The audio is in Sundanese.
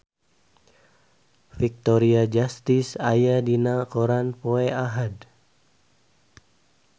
Victoria Justice aya dina koran poe Ahad